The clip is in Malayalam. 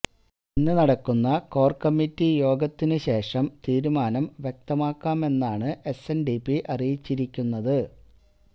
ഇന്ന് നടക്കുന്ന കോര് കമ്മിറ്റി യോഗത്തിന് ശേഷം തീരുമാനം വ്യക്തമാക്കാമെന്നാണ് എസ്എന്ഡിപി അറിയിച്ചിരിക്കുന്നത്